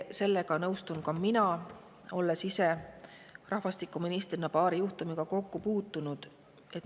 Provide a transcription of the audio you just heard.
Sellega nõustun ka mina, olles ise rahvastikuministrina paari juhtumiga kokku puutunud.